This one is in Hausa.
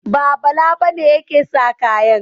Ba, Bala ba ne yake sa kayan.